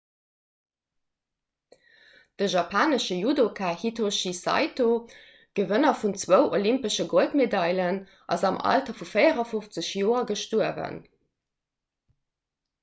de japanesche judoka hitoshi saito gewënner vun zwou olympesche goldmedailen ass am alter vu 54 joer gestuerwen